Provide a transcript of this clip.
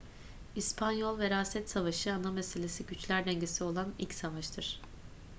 i̇spanyol veraset savaşı ana meselesi güçler dengesi olan ilk savaştır